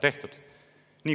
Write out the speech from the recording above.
tehtud.